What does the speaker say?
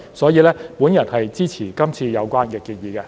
所以，我支持今次有關建議。